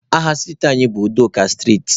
Aha striiti anyị bụ Udoka striiti.